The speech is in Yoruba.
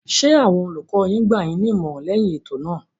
Ṣé àwọn olùkọ yín gbà yín ní ìmọ̀ràn lẹyìn ètò náà.